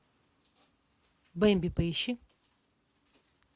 бэмби поищи